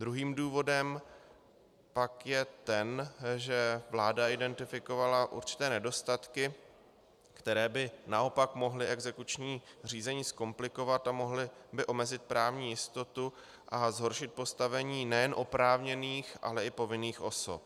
Druhým důvodem pak je ten, že vláda identifikovala určité nedostatky, které by naopak mohly exekuční řízení zkomplikovat a mohly by omezit právní jistotu a zhoršit postavení nejen oprávněných, ale i povinných osob.